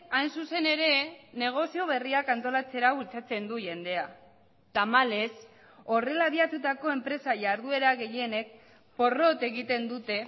hain zuzen ere negozio berriak antolatzera bultzatzen du jendea tamalez horrela abiatutako enpresa jarduera gehienek porrot egiten dute